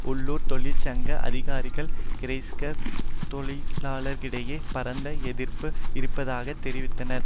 உள்ளூர் தொழிற்சங்க அதிகாரிகள் கிறைஸ்லர் தொழிலாளர்களிடையே பரந்த எதிர்ப்பு இருப்பதாக தெரிவித்தனர்